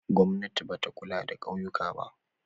Gwamnati ba ta kula da ƙauyuka.